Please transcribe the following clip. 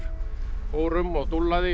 fór um og